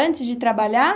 Antes de trabalhar?